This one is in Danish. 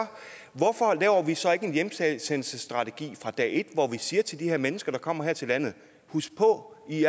hvorfor laver vi så ikke en hjemsendelsesstrategi fra dag et og siger til de her mennesker der kommer her til landet husk på at i